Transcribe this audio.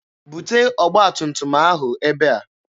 Bute ọgba tum tum ahụ ebe a!